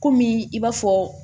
Kɔmi i b'a fɔ